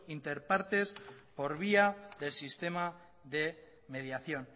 interpartes por vía del sistema de mediación